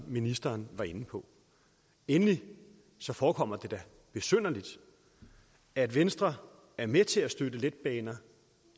ministeren var inde på endelig forekommer det da besynderligt at venstre er med til at støtte letbaner